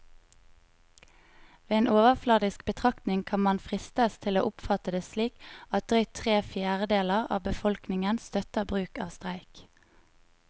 Ved en overfladisk betraktning kan man fristes til å oppfatte det slik at drøyt tre fjerdedeler av befolkningen støtter bruk av streik.